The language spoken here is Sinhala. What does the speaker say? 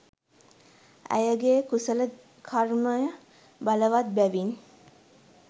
ඇයගේ් කුසල කර්මය බලවත් බැවින්